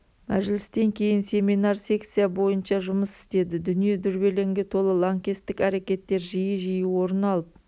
мәжілістен кейін семинар секция бойынша жұмыс істеді дүние дүрбелеңге толы лаңкестік әрекеттер жиі-жиі орын алып